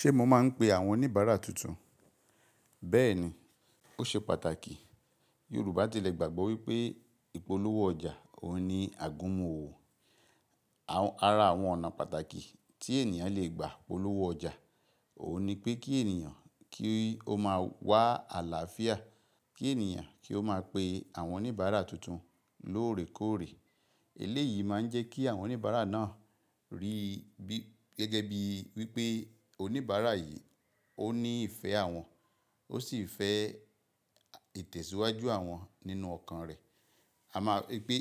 Ṣe mọ maa n pé àwọn oníbàárà tuntun? Bẹ́ẹ̀ni, ó ṣe pàtàkì. Yorùbá ti lè gbàgbọ́ wípé ìpolówó ọjà òun ní àgúnmu ọ̀wò. Àrà àwọn ọ̀nà pàtàkì tí ènìyàn lè gbà polówó ọjà òun ni pé kí ènìyàn kí ó máa wà àlàáfíà, kí ènìyàn kí ó máa pe àwọn oníbàárà tuntun lóòrèkóòrè. Eléyìí máa ń jẹ́ kí àwọn oníbàárà náà rí gẹ́gẹ́ bí wípé oníbàárà yìí ó ní ìfẹ́ àwọn, ó sì fẹ́ ìtẹ̀síwájú àwọn nínú ọkàn rẹ̀. A má ípé